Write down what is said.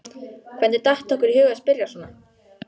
Hvernig datt okkur í hug að spyrja svona!